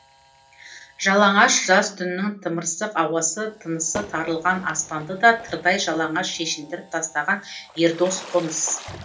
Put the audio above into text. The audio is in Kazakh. жалаңаш жаз түнінің тымырсық ауасы тынысы тарылған аспанды да тырдай жалаңаш шешіндіріп тастаған ердос қоныс